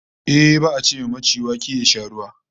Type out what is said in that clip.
Ehh, ba'a ce wa maci wake ya sha ruwa